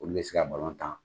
Olu bɛ se ka balon tan.